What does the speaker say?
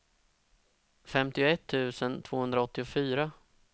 femtioett tusen tvåhundraåttiofyra